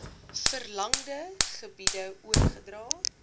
verlangde gebiede oorgedra